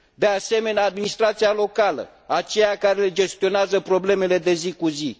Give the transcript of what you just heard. De asemenea, administrația locală, aceea care le gestionează problemele de zi cu zi.